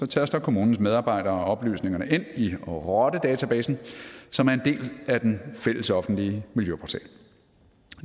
taster kommunens medarbejdere oplysningerne ind i rottedatabasen som er en del af den fælles offentlige miljøportal